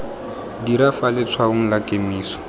dira fa letshwaong la kemiso